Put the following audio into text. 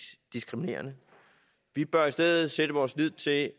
diskriminerende vi bør i stedet sætte vores lid til at